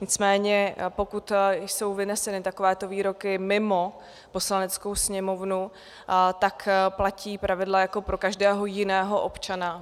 Nicméně pokud jsou vyneseny takovéto výroky mimo Poslaneckou sněmovnu, tak platí pravidla jako pro každého jiného občana.